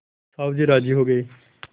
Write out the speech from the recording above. साहु जी राजी हो गये